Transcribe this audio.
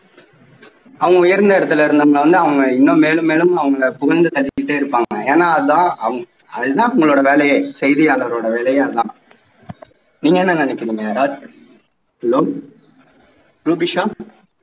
அவங்க உயர்ந்த இடத்தில அவுங்க இன்னும் மேலும் மேலும் அவங்களை புகழ்ந்து தள்ளிக்கிட்டே இருப்பாங்க ஏன்னா அதான் அதுதான் அவங்களுடைய வேலையே செய்தியாளர்களுடையே வேலையே அது தான் நீங்க என்ன நினைக்குறீங்க ரூபிஷா hello ரூபிஷா